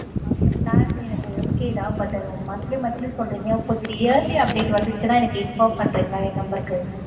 அந்த plan எனக்கு okay தான் but monthly monthly சொல்றீங்க கொஞ்சம் yearly அப்டின்னு வந்துச்சுன்னா inform பண்றீங்களா என் number க்கு?